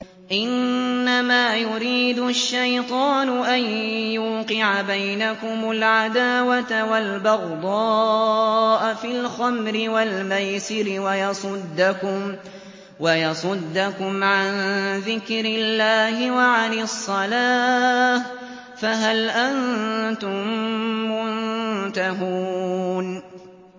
إِنَّمَا يُرِيدُ الشَّيْطَانُ أَن يُوقِعَ بَيْنَكُمُ الْعَدَاوَةَ وَالْبَغْضَاءَ فِي الْخَمْرِ وَالْمَيْسِرِ وَيَصُدَّكُمْ عَن ذِكْرِ اللَّهِ وَعَنِ الصَّلَاةِ ۖ فَهَلْ أَنتُم مُّنتَهُونَ